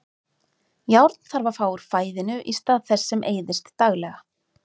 Járn þarf að fá úr fæðinu í stað þess sem eyðist daglega.